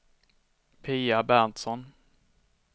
Pia Berntsson